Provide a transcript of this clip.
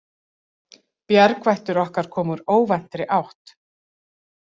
Bjargvættur okkar kom úr óvæntri átt.